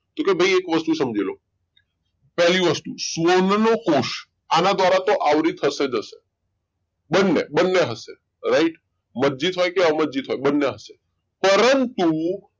કે કોઈ ભાઈ એક વસ્તુ સમજી લો પેલી વસ્તુ સ્વરનો કોષ આના દ્વારા તો આવરીત થશે બંને બંને હશે right મજ્જિત હોય કે અમરજીત હોય પરંતુ